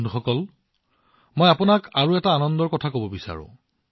বন্ধুসকল মই আপোনাক আৰু এটা আনন্দৰ কথা কব বিচাৰো